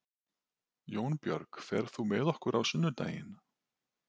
Jónbjörg, ferð þú með okkur á sunnudaginn?